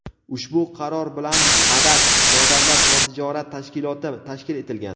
ushbu qaror bilan "Madad" nodavlat-notijorat tashkiloti tashkil etilgan.